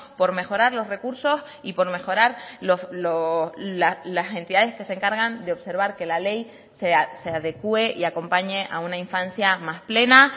por mejorar los recursos y por mejorar las entidades que se encargan de observar que la ley se adecue y acompañe a una infancia más plena